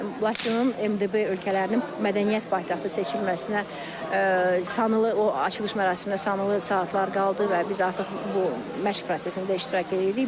Laçının MDB ölkələrinin mədəniyyət paytaxtı seçilməsinə sanılı, o açılış mərasiminə sanılı saatlar qaldı və biz artıq bu məşq prosesində iştirak eləyirik.